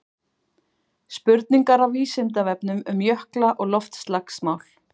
spurningar af vísindavefnum um jökla og loftslagsmál